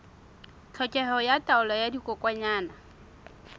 tlhokeho ya taolo ya dikokwanyana